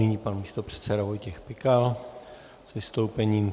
Nyní pan místopředseda Vojtěch Pikal k vystoupení.